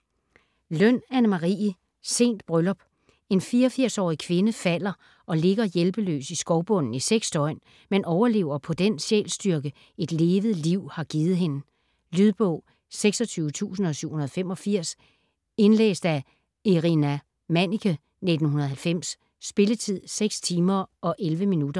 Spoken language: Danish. Løn, Anne Marie: Sent bryllup En 84-årig kvinde falder og ligger hjælpeløs i skovbunden i seks døgn, men overlever på den sjælsstyrke, et levet liv har givet hende. Lydbog 26785 Indlæst af Irina Manniche, 1990. Spilletid: 6 timer, 11 minutter.